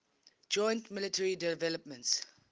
joint military developments